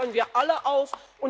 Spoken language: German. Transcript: Dazu fordern wir alle auf!